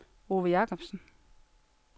Ove Jacobsen